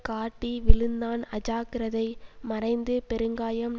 காட்டி விழுந்தான் அஜாக்கிரதை மறைந்து பெருங்காயம்